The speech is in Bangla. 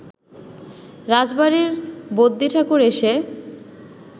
রাজবাড়ির বদ্যিঠাকুর এসে